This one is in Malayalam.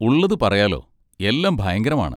ഉള്ളത് പറയാല്ലോ, എല്ലാം ഭയങ്കരമാണ്.